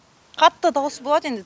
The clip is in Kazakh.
қатты дауыс болады енді